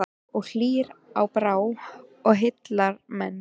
Og hýr á brá og heillar menn.